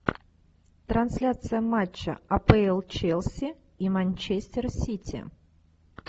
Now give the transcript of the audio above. трансляция матча апл челси и манчестер сити